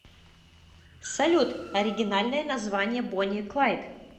салют оригинальное название бонни и клайд